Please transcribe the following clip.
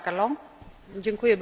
Pani przewodnicząca!